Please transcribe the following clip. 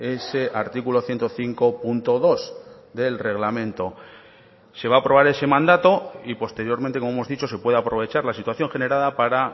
ese artículo ciento cinco punto dos del reglamento se va a aprobar ese mandato y posteriormente como hemos dicho se puede aprovechar la situación generada para